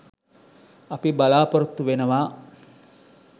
අපි බලාපොරොත්තු වෙනවා